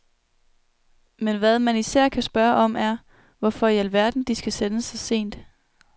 Men hvad man især kan spørge om, er, hvorfor i alverden de skal sendes så sent.